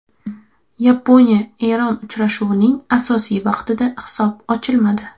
Yaponiya Eron uchrashuvining asosiy vaqtida hisob ochilmadi.